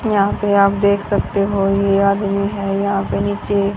यहां पे आप देख सकते हो ये आदमी है यहां पे नीचे--